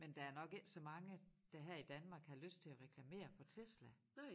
Men der jo nok ikke så mange der her i Danmark har lyst til at reklamere for Tesla